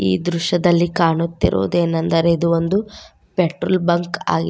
ಈ ದೃಶ್ಯದಲ್ಲಿ ಕಾಣುತ್ತಿರುವುದೇನಂದರೆ ಇದು ಒಂದು ಪೆಟ್ರೋಲ್ ಬಂಕ್ ಆಗಿ--